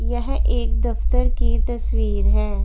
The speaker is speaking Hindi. यह एक दफ्तर की तस्वीर है।